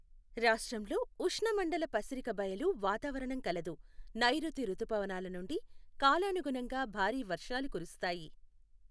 రాష్ట్రంలో ఉష్ణమండల పసిరికబయలు వాతావరణం కలదు, నైరుతి రుతుపవనాల నుండి కాలానుగుణంగా భారీ వర్షాలు కురుస్తాయి.